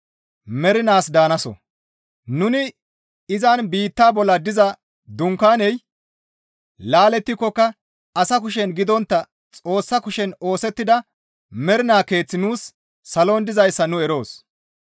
Nuni izan biittaa bolla diza dunkaaney laalettikokka asa kushen gidontta Xoossa kushen oosettida mernaa keeththi nuus salon dizayssa nu eroos.